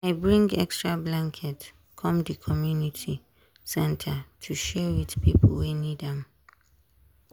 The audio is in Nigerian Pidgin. i bring extra blanket come di community center to share with pipo wey need am.